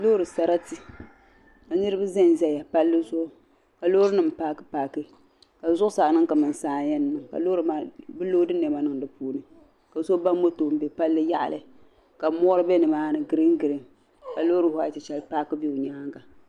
Loori sarati ka niraba ʒɛnʒɛya palli zuɣu ka loori nim paaki paaki ka zuɣusaa niŋ kamani saa n yɛn mi ka loori maa bi loodi niɛma niŋ di puuni ka so ba moto n bɛ palli yaɣali ka mori bɛ nimaani giriin giriin ka loori whait shɛli paaki bɛ o nyaanga